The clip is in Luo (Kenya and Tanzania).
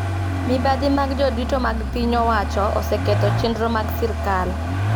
Mibadhi mag jodito mag piny owacho oseketho chendro mag sirkal